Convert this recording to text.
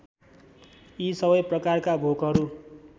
यी सबै प्रकारका भोकहरू